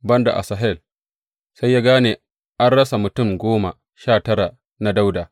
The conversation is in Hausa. Ban da Asahel, sai ya gane an rasa mutum goma sha tara na Dawuda.